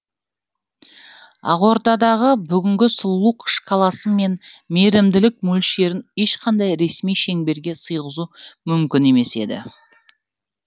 ақордадағы бүгінгі сұлулық шкаласы мен мейірімділік мөлшерін ешқандай ресми шеңберге сыйғызу мүмкін емес еді